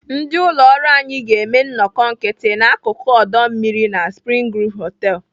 Ndị ụlọ ọrụ anyị ga-eme nnọkọ nkịtị n'akụkụ ọdọ mmiri na Spring Groove Hotel.